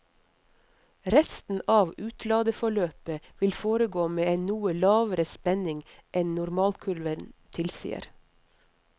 Resten av utladeforløpet vil foregå med en noe lavere spenning enn normalkurven tilsier.